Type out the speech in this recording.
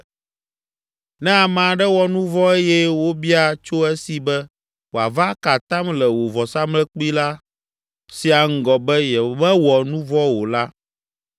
“Ne ame aɖe wɔ nu vɔ̃ eye wobia tso esi be wòava aka atam le wò vɔsamlekpui sia ŋgɔ be yemewɔ nu vɔ̃ la o la,